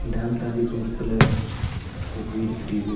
Dam தாண்டி தூரத்துல ஒரு வீடு தெரியிது.